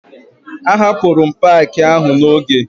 Ahapụrụ m paakị ahụ n'oge